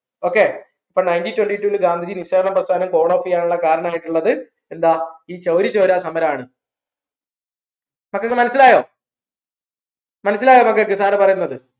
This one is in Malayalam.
okay അപ്പോ nineteen twenty two ൽ ഗാന്ധിജി നിസാരണ പ്രസ്ഥാനം up യ്യാനുള്ള കാരണമായിട്ടുള്ളത് എന്താ ഈ ചൗരി ചൗര സമരണ് മക്കക്ക് മനസ്സിലായോ മനസ്സിലായോ മക്കക്ക് sir പറയുന്നത്